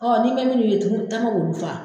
Ɔ ni tana bɛ olu faa